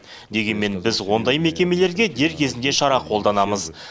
дегенмен біз ондай мекемелерге дер кезінде шара қолданамыз